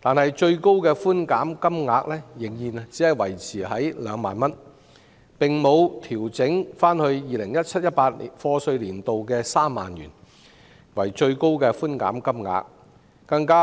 但是，相關的最高寬減金額仍然維持在2萬元，並沒有重回 2017-2018 課稅年度的3萬元水平，更遑